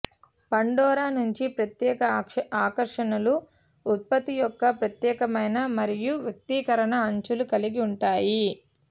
Pandora నుండి ప్రత్యేక ఆకర్షణలు ఉత్పత్తి యొక్క ప్రత్యేకమైన మరియు వ్యక్తీకరణ అంచులు కలిగి ఉంటాయి